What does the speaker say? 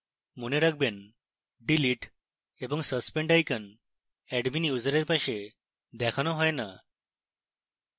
মনে রাখবেন delete এবং suspend icons admin user এর পাশে দেখানো হয় note